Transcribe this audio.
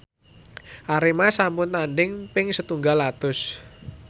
Arema sampun tandhing ping setunggal atus